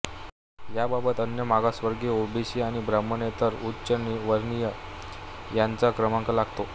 याबाबत अन्य मागासवर्गीय ओबीसी आणि ब्राह्मणेतर उच्चवर्णीय यांचा क्रमांक लागतो